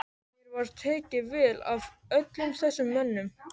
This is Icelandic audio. Mér var tekið vel af öllum þessum mönnum.